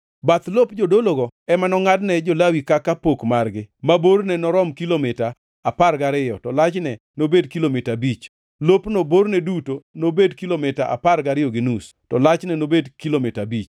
“Bath lop jodologo ema nongʼadne jo-Lawi kaka pok margi; ma borne norom kilomita apar gariyo, to lachne nobed kilomita abich; lopno borne duto nobed kilomita apar gariyo gi nus, to lachne nobed kilomita abich.